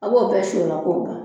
A' b'o bɛɛ k'o ban